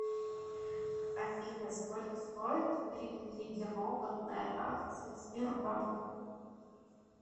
афина сколько стоит привилегированная акция сбербанка